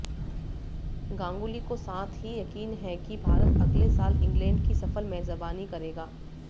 गांगुली को साथ ही यकीन है कि भारत अगले साल इंग्लैंड की सफल मेजबानी करेगा